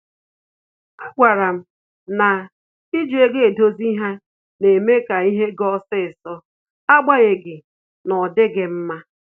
A gwara m na iji ego dozie ihe na-eme ka ihe ga osisọ, agbanyeghi n'odighi mma